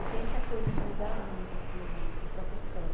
Eu tenho essa coisa de mudar muito, assim, de de profissão.